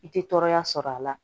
I tɛ tɔɔrɔya sɔrɔ a la